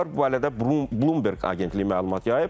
Bu barədə Bloomberg agentliyi məlumat yayıb.